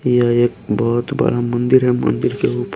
यह एक बहुत बड़ा मंदिर है मंदिर के ऊपर--